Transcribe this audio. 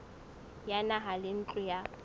ya naha le ntlo ya